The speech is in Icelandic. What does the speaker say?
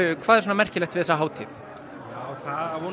hvað er svona merkilegt við hátíðina hún á